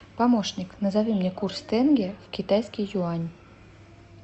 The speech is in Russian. помощник назови мне курс тенге в китайский юань